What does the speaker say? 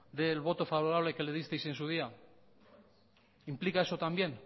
del voto favorable que le disteis en su día implica eso también